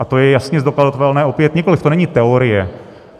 A to je jasně zdokladatelné opět, nikoliv to není teorie.